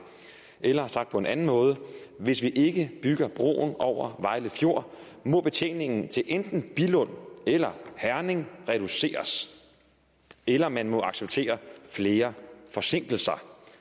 eller sagt på en anden måde hvis vi ikke bygger broen over vejle fjord må betjeningen til enten billund eller herning reduceres eller man må acceptere flere forsinkelser